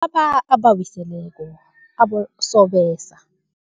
Bobaba abawiseleko, abosobese.